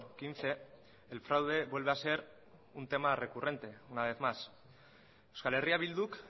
quince el fraude vuelve a ser un tema recurrente una vez más euskal herria bilduk